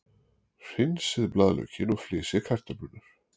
Hreinsið blaðlaukinn og flysjið kartöflurnar.